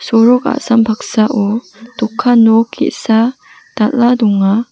sorok a·sam paksao dokan nok ge·sa dal·a donga.